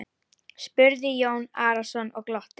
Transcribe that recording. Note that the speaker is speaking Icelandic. spurði Jón Arason og glotti.